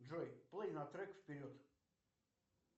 джой плей на трек вперед